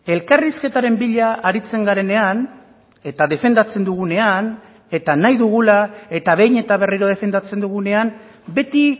elkarrizketaren bila aritzen garenean eta defendatzen dugunean eta nahi dugula eta behin eta berriro defendatzen dugunean beti